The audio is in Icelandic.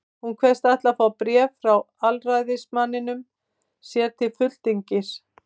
Hún kveðst ætla að fá bréf frá aðalræðismanninum sér til fulltingis.